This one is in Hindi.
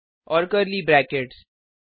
और कर्ली ब्रैकेट्स